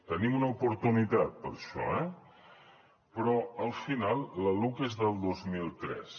tenim una oportunitat per això eh però al final la luc és del dos mil tres